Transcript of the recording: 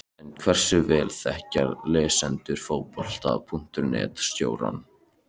En hversu vel þekkja lesendur Fótbolta.net stjórana?